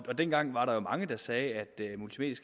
dengang var der jo mange der sagde